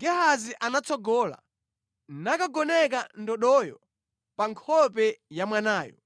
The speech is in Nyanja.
Gehazi anatsogola nakagoneka ndodoyo pa nkhope ya mwanayo,